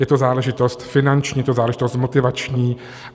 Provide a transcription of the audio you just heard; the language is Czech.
Je to záležitost finanční, je to záležitost motivační.